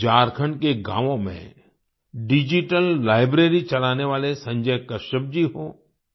झारखण्ड के गांवों में डिजिटल लाइब्रेरी चलाने वाले संजय कश्यप जी हों